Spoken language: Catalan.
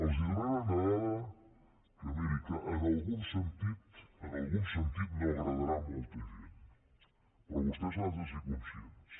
els donaré una dada que miri en algun sentit en algun sentit no agradarà a molta gent però vostès n’han de ser conscients